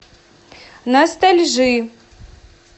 ностальжи